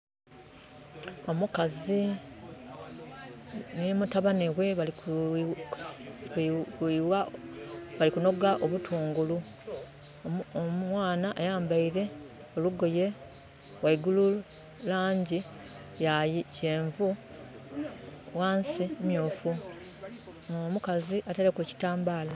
Omukazi nhi mutabani ghe bali ku noga obutungulu . Omwana ayambeire olugoye ghaigulu luli mulangi ya kyenvu ghansi myufu. Omukazi ateireku eki tambala.